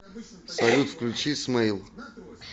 салют включи смейл